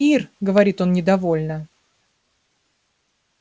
ир говорит он недовольно